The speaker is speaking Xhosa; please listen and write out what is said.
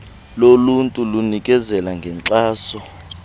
loluntu linikezela ngenkxaso